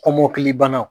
Kɔmɔkili banaw